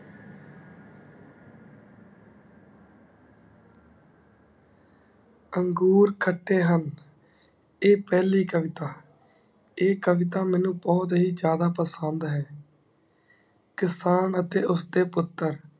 ਅੰਗੂਰ ਖੱਟੇ ਹੁਣ ਏਹ ਪਹਿਲੀ ਕਵਿਤਾ ਈ ਕਵਿਤਾ ਮੇਨੂ ਬਹੁਤ ਹੀ ਜਾਂਦਾ ਪਸੰਦ ਹੈ ਕਿਸਾਨ ਅਤੇ ਉਸਦੇ ਪੁੱਤਰ